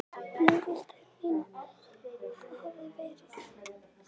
Og nú vildu þeir meina að það hefðu verið